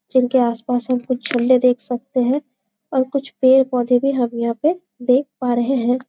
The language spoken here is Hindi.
जिनके आसपास हम कुछ झण्डे देख सकते है और कुछ पेड़ पौधे भी हम यहाँ पे देख पा रहे है।